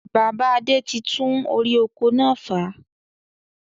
Bàbá Adé tí tún orí oko náà fà